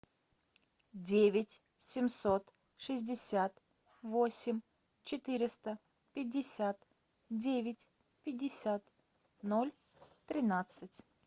девять семьсот шестьдесят восемь четыреста пятьдесят девять пятьдесят ноль тринадцать